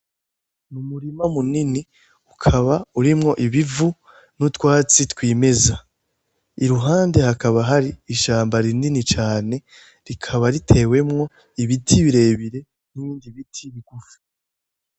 Umurima munini ukaba urimwo ibivu n'utwatsi twimeza iruhande hakaba hari ishamba rinini cane rikaba ritewemwo ibiti birebire nibindi biti bigufi